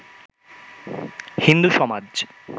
হিন্দু সমাজ